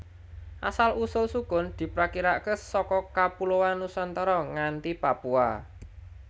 Asal usul sukun diprakirakaké saka kapuloan Nusantara nganti Papua